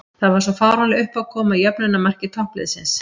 Það var svo fáránleg uppákoma í jöfnunarmarki toppliðsins.